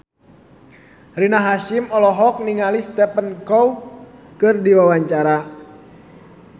Rina Hasyim olohok ningali Stephen Chow keur diwawancara